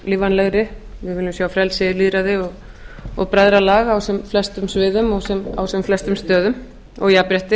lífvænlegri við viljum sjá frelsi lýðræði og bræðralag á sem flestum sviðum og á sem flestum stöðum og jafnrétti